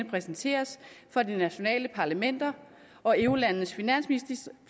præsenteres for de nationale parlamenter og eurolandenes finansministre